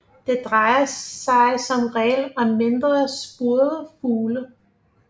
Det drejer sig som regel om mindre spurvefugle